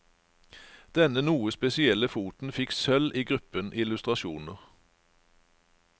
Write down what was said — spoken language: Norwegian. Denne noe spesielle foten fikk sølv i gruppen illustrasjoner.